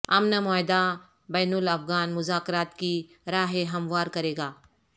امن معاہدہ بین الافغان مذاکرات کی راہ ہموار کرے گا